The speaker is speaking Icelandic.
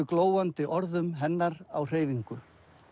glóandi orðum hennar á hreyfingu